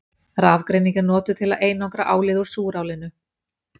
Rafgreining er notuð til að einangra álið úr súrálinu.